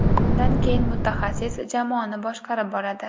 Bundan keyin mutaxassis jamoani boshqarib boradi.